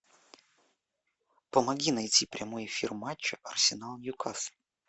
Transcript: помоги найти прямой эфир матча арсенал ньюкасл